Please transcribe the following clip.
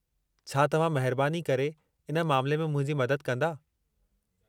छा तव्हां महिरबानी करे इन मामिले में मुंहिंजी मददु कंदा?